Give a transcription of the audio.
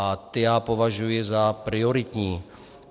A ty já považuji za prioritní.